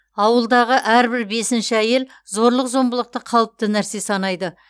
ауылдағы әрбір бесінші әйел зорлық зомбылықты қалыпты нәрсе санайды